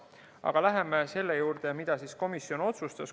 Aga läheme selle juurde, mida komisjon otsustas.